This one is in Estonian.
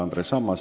Andres Ammas.